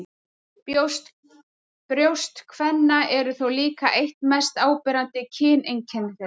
Brjóst kvenna eru þó líka eitt mest áberandi kyneinkenni þeirra.